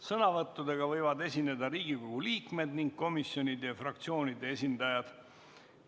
Sõnavõtuga võivad esineda Riigikogu liikmed ning komisjonide ja fraktsioonide esindajad.